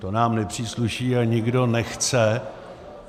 To nám nepřísluší a nikdo nechce...